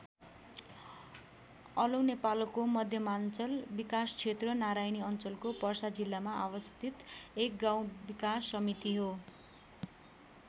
अलौ नेपालको मध्यमाञ्चल विकासक्षेत्र नारायणी अञ्चलको पर्सा जिल्लामा अवस्थित एक गाउँ विकास समिति हो।